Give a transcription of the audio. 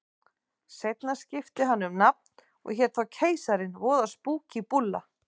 Seinna skipti hann um nafn og hét þá Keisarinn, voða spúkí búlla.